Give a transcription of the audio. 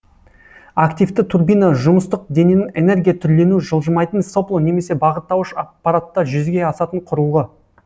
активті турбина жұмыстық дененің энергия түрленуі жылжымайтын сопло немесе бағыттауыш аппаратта жүзеге асатын құрылғы